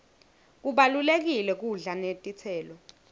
kubalulekile kudla netitselo